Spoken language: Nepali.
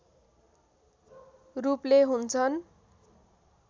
रूपले हुन्छन्